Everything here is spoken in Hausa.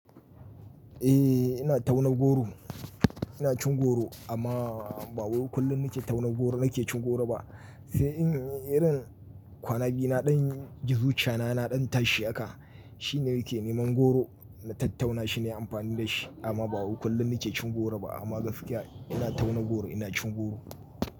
Eh ina tauna goro, ina cin goro amma ba wai kullum nike taunan goro nike cin goro ba. E irin irin kwana biyu na ɗan ji zuciyana, na ɗan tashi haka shine nake niman goro na tattauna shi na amfani da shi amma ba wai kullun nike cin goro ba amma gaskiya ina tauna goro ina cin goro.